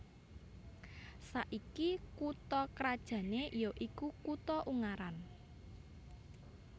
Saiki kutha krajané ya iku kutha Ungaran